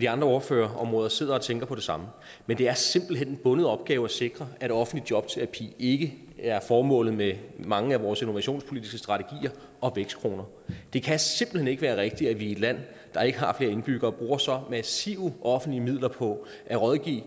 de andre ordførerområder sidder og tænker på det samme men det er simpelt hen en bundet opgave at sikre at offentlig jobterapi ikke er formålet med mange af vores innovationspolitiske strategier og vækstkroner det kan simpelt hen ikke være rigtigt at vi i et land der ikke har flere indbyggere bruger så massivt mange offentlige midler på at rådgive